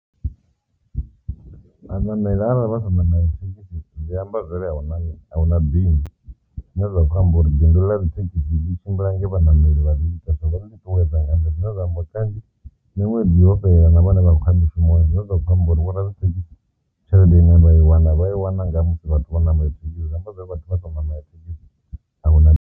Vhanameli arali vha sa namela thekhisi zwi amba zwa uri ahuna bindu, zwine zwa khou amba uri bindu ḽa dzithekhisi ḽi tshimbila nge vhanameli vha ḽi ita na u ḽi ṱuṱuwedza zwine zwa amba uri kanzhi miṅwedzi yo fhelela na vhane vha khou ya mushumoni zwine zwa kho amba zwori vho radzithekhisi tshelede ine vha i wana vha i wana nga musi vhathu vho namela thekhisi zwi amba zwori arali vhathu vha songo namela thekhisi ahuna.